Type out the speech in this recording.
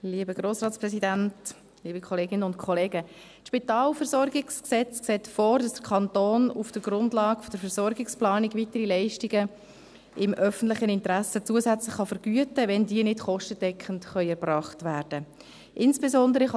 Das SpVG sieht vor, dass der Kanton auf der Grundlage der Versorgungsplanung weitere Leistungen im öffentlichen Interesse zusätzlich vergüten kann, wenn diese nicht kostendeckend erbracht werden können.